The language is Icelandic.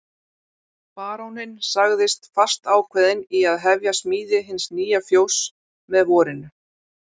Baróninn sagðist fastákveðinn í að hefja smíði hins nýja fjóss með vorinu.